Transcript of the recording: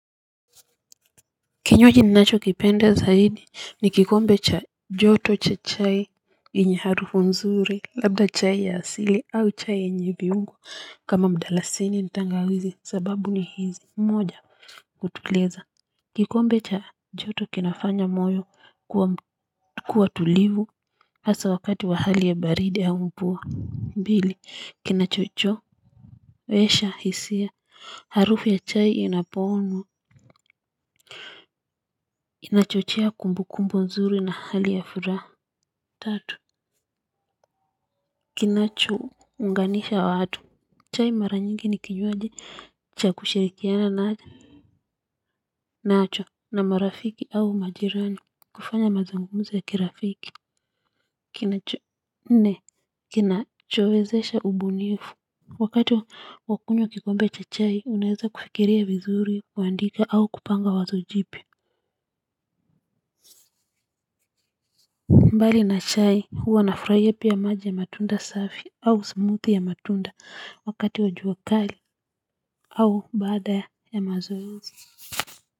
Kinyuaji ninacho kipenda zaidi ni kikombe cha joto cha chai yenye arufu nzuri labda chai ya asili au chai yenye viungu kama mdalasini nitangawizi sababu ni hizi mmoja kutuliza kikombe cha joto kinafanya moyo kuwa tulivu asa wakati wa hali ya baridi au mvua mbili kinachocho wesha hisia harufu ya chai inapoonwa inachochea kumbu kumbu nzuri na hali ya furaha tatu kinacho unganisha watu chai mara nyingi nikinyuaji cha kushirikiana na haja nacho na marafiki au majirani kufanya mazungumzo ya kirafiki kinacho nne kinachowezesha ubunifu wakati wakunyo kikombe cha chai unaheza kufikiria vizuri kuandika au kupanga wazojipia. Mbali na chai huwa na fraiya piya maji ya matunda safi au smoothie ya matunda wakati wajua kali au bada ya mazoezi.